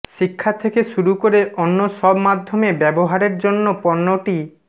শিক্ষা থেকে শুরু করে অন্য সব মাধ্যমে ব্যবহারের জন্য পণ্যটি